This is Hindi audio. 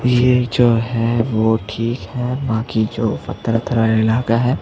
ये जो है वो ठीक है बाकि जो पत्थर-उथर वाला इलाका हैं।